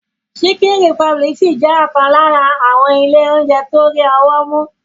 Chicken Republic ṣì jẹ́ ọ̀kan lára àwọn ilé oúnjẹ tó rí ọwọ́ mú.